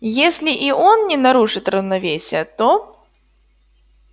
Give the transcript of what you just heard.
если и он не нарушит равновесия то